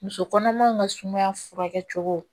Muso kɔnɔmaw ka sumaya furakɛ cogo